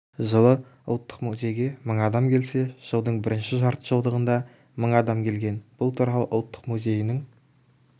жылы ұлттық музейге мың адам келсе жылдың бірінші жартыжылдығында мың адам келген бұл туралы ұлттық музейінің